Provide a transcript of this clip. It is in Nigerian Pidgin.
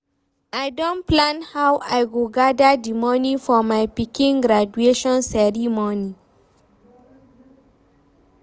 I don plan how I go gather di money for my pikin graduation ceremony